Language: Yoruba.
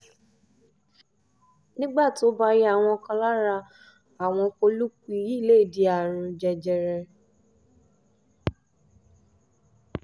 nígbà tó bá yá àwọn kan lára àwọn pọ́lípù yìí lè di àrùn jẹjẹrẹ